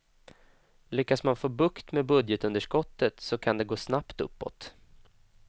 Lyckas man få bukt med budgetunderskottet så kan det gå snabbt uppåt.